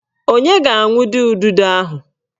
Onye ga-awundo ududo ahụ?